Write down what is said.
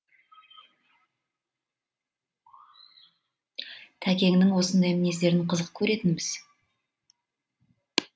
тәкеңнің осындай мінездерін қызық көретінбіз